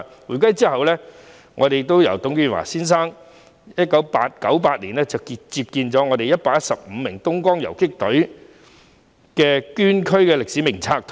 回歸後，董建華先生在1998年安放了115名東江縱隊港九大隊捐軀烈士的名冊。